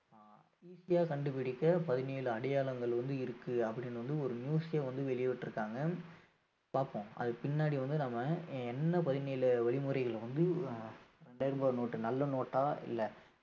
அஹ் easy ஆ கண்டுபிடிக்க பதினேழு அடையாளங்கள் வந்து இருக்கு அப்படீன்னு வந்து ஒரு news ஏ வந்து வெளியிட்டிருக்காங்க பாப்போம் அதுக்கு பின்னாடி வந்து நாம என்ன பதினேழு வழிமுறைகளை வந்து அஹ் இரண்டாயிரம் ரூபாய் note டு நல்ல note ஆ இல்ல